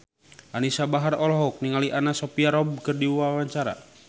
Anisa Bahar olohok ningali Anna Sophia Robb keur diwawancara